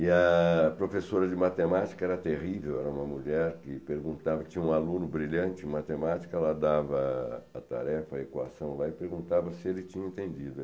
E a professora de matemática era terrível, era uma mulher que perguntava, tinha um aluno brilhante em matemática, ela dava a tarefa, a equação lá e perguntava se ele tinha entendido.